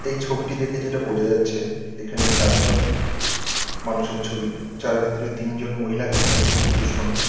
এই ছবিটি দেখে যেটা বোঝা যাচ্ছে এখানে চারজন মানুষের ছবি। যার ভিতরে তিনজন মহিলা এবং একজন পুরুষ মানুষ।